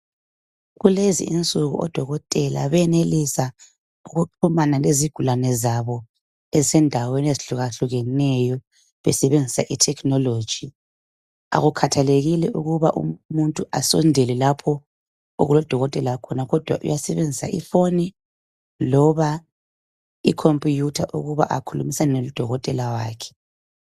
Kulezi insuku odokotela benelisa ukuxhumana lezigulane zabo ezisendaweni ezihlukahlukeneyo besebenzisa i technology .Akukhathalekile ukuba umuntu asondele lapho okulodokotela khona kodwa uyasebenzisa ifoni loba ikompuyutha ukuba akhulumisane lodokotela wakhe.